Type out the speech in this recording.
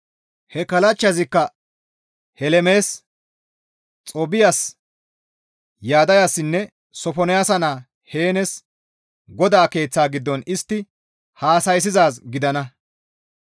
He kallachchazikka Helemes, Xoobbiyas, Yaddayassinne Sofonaasa naa Heenes GODAA Keeththa giddon istti hassa7issizaaz gidana.